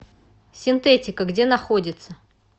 синтетика где находится